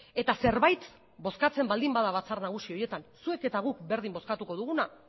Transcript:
eta zerbait bozkatzen baldin bada batzar nagusi horietan zuek eta guk berdin bozkatuko duguna